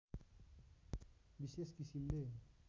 विशेष किसिमले